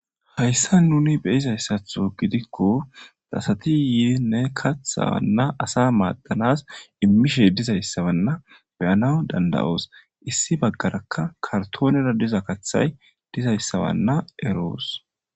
Hayssan nuni be'izayssaththo giddikko asati Yinne kaththa wanna asa maddanas immishshe dizzayisa wanna beanawus dandda'os issi baggaraka karttonenera dizza kaththayi dizzayisa eroosi.